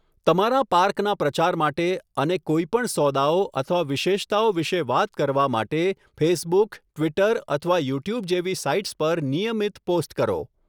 તમારા પાર્કના પ્રચાર માટે અને કોઈ પણ સોદાઓ અથવા વિશેષતાઓ વિશે વાત કરવા માટે ફેસબુક, ટ્વિટર અથવા યુટ્યુબ જેવી સાઇટ્સ પર નિયમિત પોસ્ટ કરો.